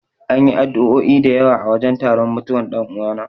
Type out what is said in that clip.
An yi addu'o'i da yawa a wajen taron mutuwan dan'uwana.